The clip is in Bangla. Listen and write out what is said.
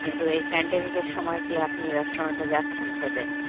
কিন্তু এই pandemic এর সময় কি আপনি restaurants এ যাচ্ছেন খেতে?